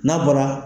N'a bɔra